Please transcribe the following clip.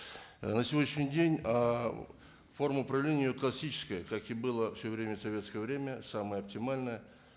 ы на сегодняшний день ыыы форма управления его классическая как и было все время в советское время самое оптимальное